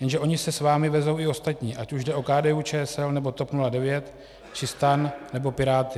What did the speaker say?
Jenže oni se s vámi vezou i ostatní, ať už jde o KDU-ČSL, nebo TOP 09, či STAN, nebo Piráty.